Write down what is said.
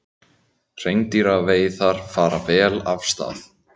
Hreindýraveiðar fara vel af stað